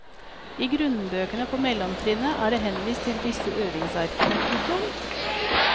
I grunnbøkene på mellomtrinnet er det henvist til disse øvingsarkene. punktum